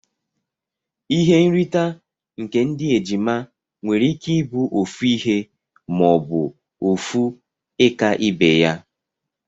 Ihe nrita nke ndi ejima nwere ike ibu ofu ihe ma obu ofu ika ibeya.